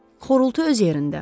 Xorultu öz yerində.